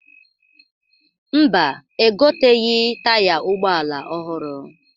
Mba, egoteghi taya ụgbọala ọhụrụ.